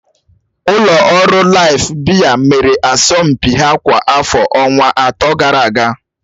Ụlọ ọrụ Laịf biya mere asọmpi ha kwa afọ ọnwa atọ gara aga.